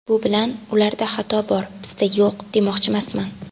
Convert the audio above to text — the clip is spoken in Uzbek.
Bu bilan ‘ularda xato bor, bizda yo‘q’, demoqchimasman.